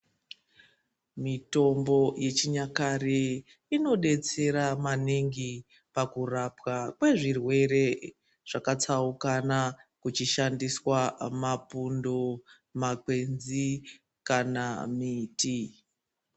Mitombo yechinyakare inodetsera maningi pakurapa kwezvirwere zvakatsaukana kuchishandiswa mapundo makwenzi kana miti.